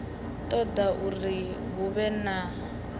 ṱoḓa uri hu vhe na